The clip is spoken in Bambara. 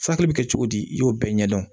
Furakɛli bɛ kɛ cogo di i y'o bɛɛ ɲɛdɔn